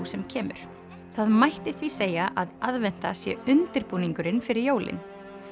sem kemur það mætti því segja að aðventa sé undirbúningurinn fyrir jólin